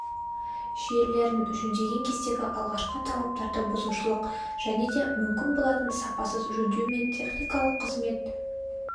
желілерін жөндеген кездегі алғашқы талаптарды бұзушылық және де мүмкін болатын сапасыз жөндеу мен техникалық қызмет